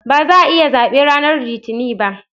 Ba za'a yi zabe ranar Litinin ba